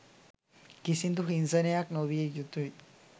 කිසිදු හිංසනයක් නොවිය යුතුයි